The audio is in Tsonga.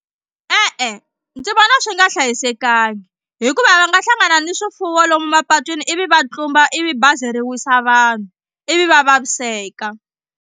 E-e ndzi vona swi nga hlayisekanga hikuva va nga hlangana ni swifuwo lomu mapatwini ivi va tlumba ivi bazi ri wisa vanhu ivi va vaviseka.